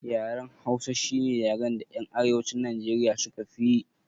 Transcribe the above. Yaren hausa shine yaran da yan arewacin nijeriya suka fiyi